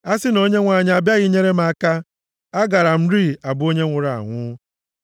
A sị na Onyenwe anyị abịaghị nyere m aka, agaara m rịị abụ onye nwụrụ anwụ.